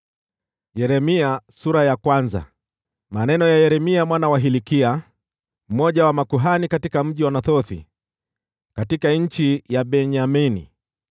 Maneno ya Yeremia mwana wa Hilkia, mmoja wa makuhani katika mji wa Anathothi, katika nchi ya Benyamini.